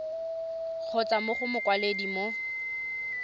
kgotsa mo go mokwaledi mo